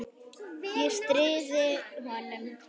Ég stríði honum.